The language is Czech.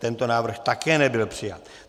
Tento návrh také nebyl přijat.